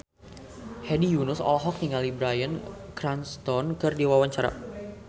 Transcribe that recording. Hedi Yunus olohok ningali Bryan Cranston keur diwawancara